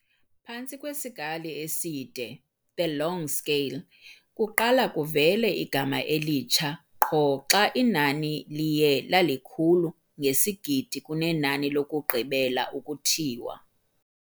phantsi kwe sikali eside, "the long scale", kuqala kuvele igama elitsha qho xa inani liye lalikhulu ngesigidi kunenani lokugqibela ukuthiwa.